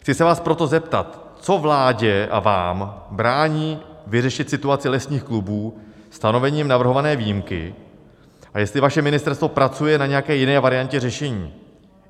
Chci se vás proto zeptat, co vládě a vám brání vyřešit situaci lesních klubů stanovením navrhované výjimky a jestli vaše ministerstvo pracuje na nějaké jiné variantě řešení.